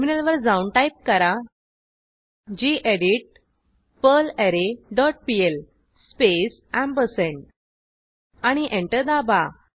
टर्मिनलवर जाऊन टाईप करा gedit perlre dot PL space आणि एंटर दाबा